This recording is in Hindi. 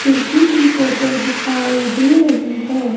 खिड़की की फोटो दिखाई देर ही है।